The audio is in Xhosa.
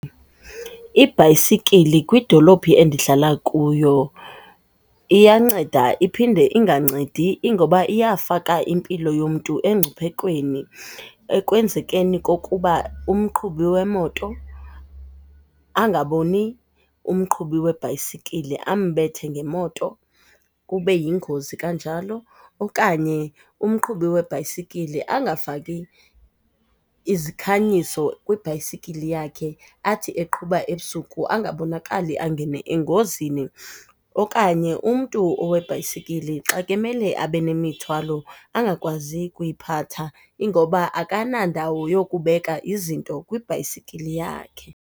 Ibhayisikile kwidolophu endihlala kuyo iyanceda iphinde ingancedi, ingoba iyafaka impilo yomntu emngciphekweni ekwenzekeni kokuba umqhubi wemoto angaboni umqhubi webhayisikile, ambethe ngemoto kube yingozi kanjalo. Okanye umqhubi webhayisikile angafaki izikhanyiso kwibhayisikile yakhe, athi eqhuba ebusuku angabonakali angene engozini. Okanye umntu owebhayisikile xa ke emele abe nemithwalo angakwazi kuyiphatha ingoba akanandawo yokubeka izinto kwibhayisikile yakhe.